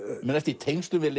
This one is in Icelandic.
í tengslum við